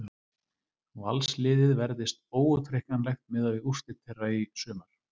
Valsliðið verðist óútreiknanlegt miðað við úrslit þeirra í sumar.